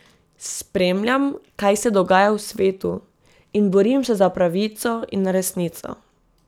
Spremljam, kaj se dogaja v svetu, in borim se za pravico in resnico.